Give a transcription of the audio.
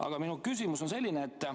Aga minu küsimus on selline.